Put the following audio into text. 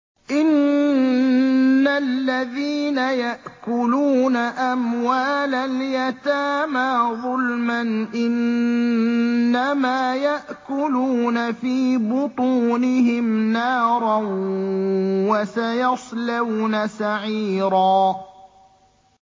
إِنَّ الَّذِينَ يَأْكُلُونَ أَمْوَالَ الْيَتَامَىٰ ظُلْمًا إِنَّمَا يَأْكُلُونَ فِي بُطُونِهِمْ نَارًا ۖ وَسَيَصْلَوْنَ سَعِيرًا